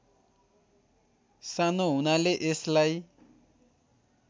सानो हुनाले यसलाई